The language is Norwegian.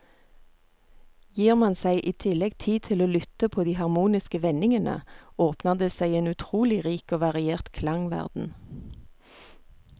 Gir man seg i tillegg tid til å lytte på de harmoniske vendingene, åpner det seg en utrolig rik og variert klangverden.